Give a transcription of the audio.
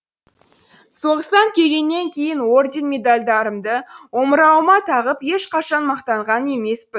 соғыстан келгеннен кейін орден медальдарымды омырауыма тағып ешқашан мақтанған емеспін